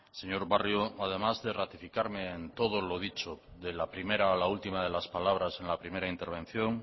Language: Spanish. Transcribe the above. señor barrio además de ratificarme en todo lo dicho de la primera a la última de las palabras en la primera intervención